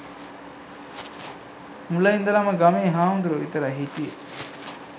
මුල ඉඳලම ගමේ හාමුදුරුවො විතරයි හිටියෙ